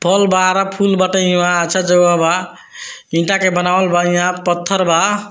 फल बारा फूल बटा हियाँ अच्छा जगह बा ईटा के बनावल बा यहाँ पत्थर बा।